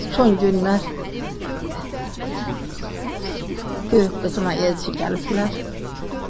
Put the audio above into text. Son günlər böyük qızına elçə gəliblər.